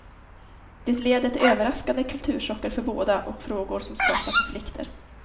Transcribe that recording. Det leder till överraskande kulturchocker för båda och frågor som skapar konflikter.